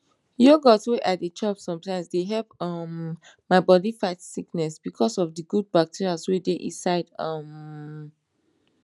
yogurt wey i dey chop sometimes dey help um my bodi fight sickness because of the good bacteria wey dey inside um